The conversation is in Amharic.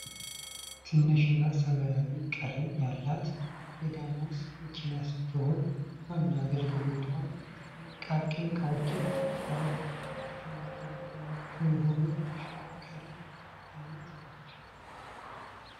ትንሽ እና ሰማያዊ ቀለም ያላት የዳማስ መኪና ስትሆን ዋና አገልግሎትዋም ጥቃቅን እቃዎችን ከከተማ ከተማ ምቹ የሆነች የተሸከርካሪ አይነት ነች ።